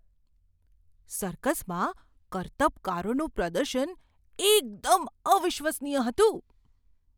સર્કસમાં કરતબકારોનું પ્રદર્શન એકદમ અવિશ્વસનીય હતું!